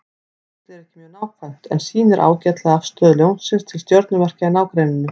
Kortið er ekki mjög nákvæmt en sýnir ágætlega afstöðu Ljónsins til stjörnumerkja í nágrenninu.